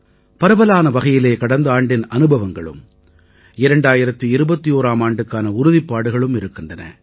பரவலான வகையிலே கடந்த ஆண்டின் அனுபவங்களும் 2021ஆம் ஆண்டுக்கான உறுதிப்பாடுகளும் இருக்கின்றன